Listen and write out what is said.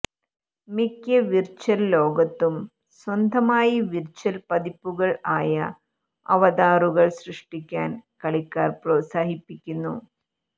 മിക്ക വിർച്ച്വൽ ലോകത്തും സ്വന്തമായി വിർച്ച്വൽ പതിപ്പുകൾ ആയ അവതാറുകൾ സൃഷ്ടിക്കാൻ കളിക്കാർ പ്രോത്സാഹിപ്പിക്കുന്നു